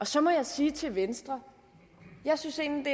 så må jeg sige til venstre jeg synes egentlig